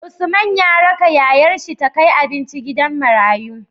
Usman ya raka yayar shi ta kai abinci gidan marayu